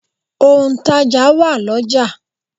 Òǹtàjà wà l'ọ́jà.